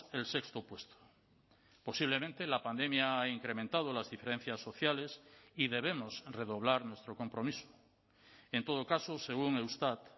el sexto puesto posiblemente la pandemia ha incrementado las diferencias sociales y debemos redoblar nuestro compromiso en todo caso según eustat